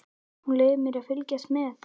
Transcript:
Þú leyfir mér að fylgjast með.